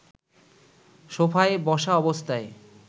সোফায় বসা অবস্থায়